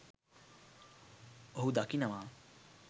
ඔහු දකිනවා